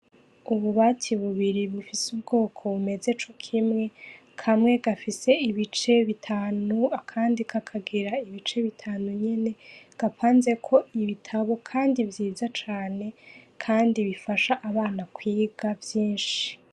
Ububati bubiri bufise ubwoko bumeze co kimwe. Kamwe gafise ibice bitanu, akandi kakagira ibice bitanu nyene; gapanzeko ibitabo, kandi vyiza cane, kandi bifasha abana kwiga vyinshi.